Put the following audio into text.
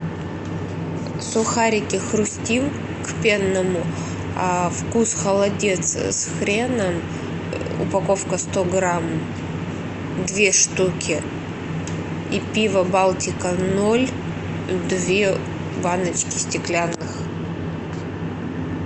сухарики хрустим к пенному вкус холодец с хреном упаковка сто грамм две штуки и пиво балтика ноль две баночки стеклянных